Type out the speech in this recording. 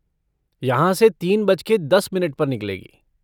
यहाँ से तीन बजके दस मिनट पर निकलेगी।